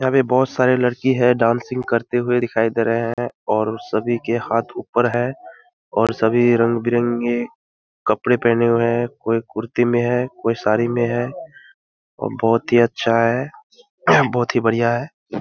यहाँ पे बहुत सारे लड़की है डांसिंग करते हुए दिखाई दे रहें हैं और सभी के हाथ ऊपर हैं और सभी रंग-बिरंगे कपड़े पहने हुए हैं। कोई कुर्ती मे है कोई साड़ी में है और बहुत ही अच्छा है बहुत ही बढ़िया है।